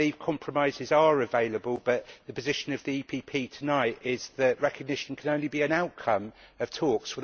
I believe compromises are available, but the position of the PPE tonight is that recognition can only be an outcome of talks.